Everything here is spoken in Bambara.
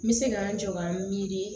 N bɛ se ka n jɔ ka n mi miiri